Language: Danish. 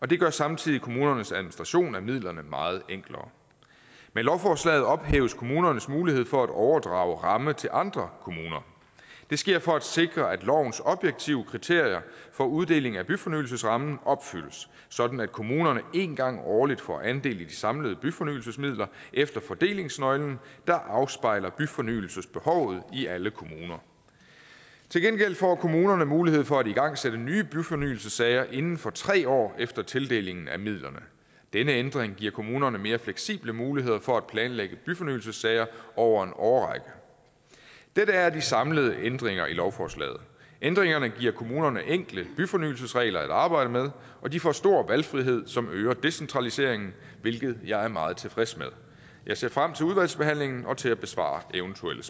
det gør samtidig kommunernes administration af midlerne meget enklere med lovforslaget ophæves kommunernes mulighed for at overdrage ramme til andre kommuner det sker for at sikre at lovens objektive kriterier for uddeling af byfornyelsesrammen opfyldes sådan at kommunerne en gang årligt får andel i de samlede byfornyelsesmidler efter fordelingsnøglen der afspejler byfornyelsesbehovet i alle kommuner til gengæld får kommunerne mulighed for at igangsætte nye byfornyelsessager inden for tre år efter tildelingen af midlerne denne ændring giver kommunerne mere fleksible muligheder for at planlægge byfornyelsessager over en årrække dette er de samlede ændringer i lovforslaget ændringerne giver kommunerne enkle byfornyelsesregler at arbejde med og de får stor valgfrihed som øger decentraliseringen hvilket jeg er meget tilfreds med jeg ser frem til udvalgsbehandlingen og til at besvare eventuelle